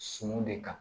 Suman de kan